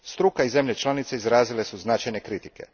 Struka i zemlje članice izrazile su značajne kritike.